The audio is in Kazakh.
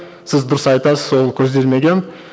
сіз дұрыс айтасыз ол көзделмеген